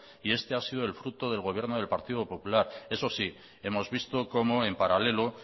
y este ha sido el fruto del gobierno del partido popular eso sí hemos visto como en paralelo